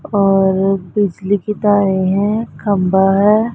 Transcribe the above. और बिजली की तारें हैं खंबा हैं।